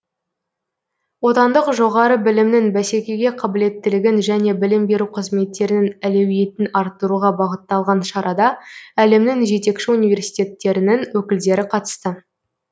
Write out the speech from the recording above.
отандық жоғары білімнің бәсекеге қабілеттілігін және білім беру қызметтерінің әлеуетін арттыруға бағытталған шарада әлемнің жетекші университеттерінің өкілдері қатысты